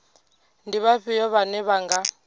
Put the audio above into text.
ndi vhafhio vhane vha nga